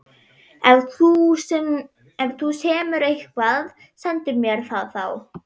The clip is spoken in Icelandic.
Ef þú semur eitthvað, sendu mér það þá.